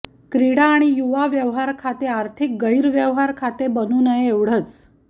क्रीडा आणि युवा व्यावहार खाते आर्थिक गैरव्यवहार खाते बनू नये एवढेच